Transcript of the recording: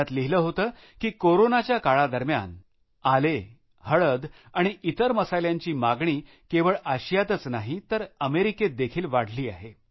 त्यात लिहिलं होतं की कोरोनाच्या काळा दरम्यान आले हळदी आणि इतर मसाल्यांची मागणी केवळ आशियातच नाही तर अमेरिकेत देखील वाढली आहे